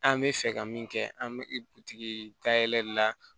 An bɛ fɛ ka min kɛ an bɛ butigi ka yɛlɛli la